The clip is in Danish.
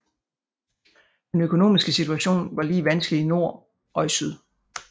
Den økonomiske situation var lige vanskelig i nord og i syd